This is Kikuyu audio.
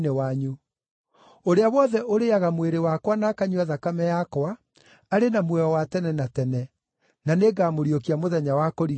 Ũrĩa wothe ũrĩĩaga mwĩrĩ wakwa na akanyua thakame yakwa arĩ na muoyo wa tene na tene, na nĩngamũriũkia mũthenya wa kũrigĩrĩria.